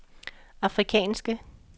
afrikanske